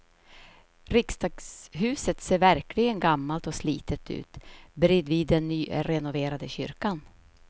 Riksdagshuset ser verkligen gammalt och slitet ut bredvid den nyrenoverade kyrkan.